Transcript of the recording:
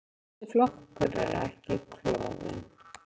Þessi flokkur er ekki klofinn.